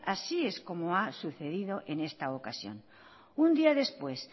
así es como ha sucedido en esta ocasión un día después